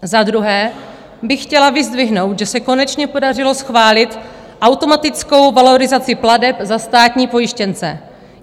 Za druhé bych chtěla vyzdvihnout, že se konečně podařilo schválit automatickou valorizaci plateb za státní pojištěnce.